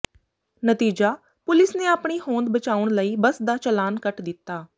ਨਤੀਜਾ ਪੁਲਿਸ ਨੇ ਆਪਣੀ ਹੋਂਦ ਬਚਾਉਣ ਲਈ ਬੱਸ ਦਾ ਚਾਲਾਨ ਕੱਟ ਦਿੱਤਾ